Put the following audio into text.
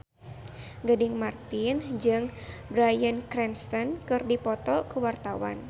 Gading Marten jeung Bryan Cranston keur dipoto ku wartawan